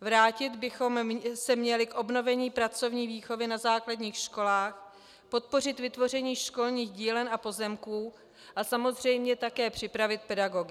Vrátit bychom se měli k obnovení pracovní výchovy na základních školách, podpořit vytvoření školních dílen a pozemků a samozřejmě také připravit pedagogy.